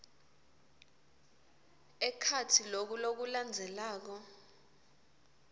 ekhatsi loku lokulandzelako